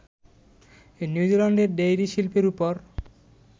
নিউজিল্যান্ডের ডেইরি শিল্পের ওপর